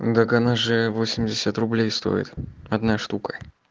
так она же восемьдесят рублей стоит одна штука